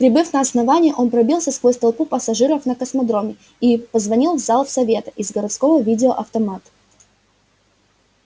прибыв на основание он пробился сквозь толпу пассажиров на космодроме и позвонил в зал совета из городского видеоавтомата